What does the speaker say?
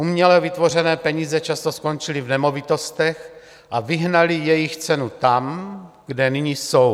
Uměle vytvořené peníze často skončily v nemovitostech a vyhnaly jejich cenu tam, kde nyní jsou.